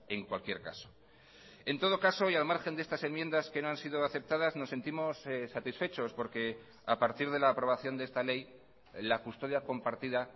en cualquier caso en todo caso y al margen de estas enmiendas que no han sido aceptadas nos sentimos satisfechos porque a partir de la aprobación de esta ley la custodia compartida